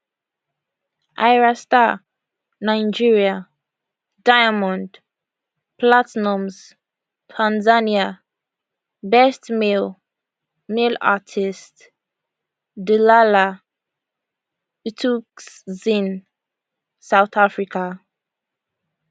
ayra starr nigeria diamond platnumz tanzania best male male artist dlala thukzin south africa